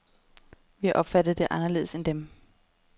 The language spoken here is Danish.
Vi har opfattet det anderledes end dem.